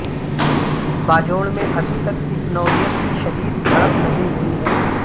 باجوڑ میں ابھی تک اس نوعیت کی شدید جھڑپ نہیں ہوئی ہے